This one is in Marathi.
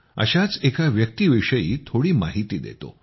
अशाच एक व्यक्तीविषयी थोडी माहिती देतो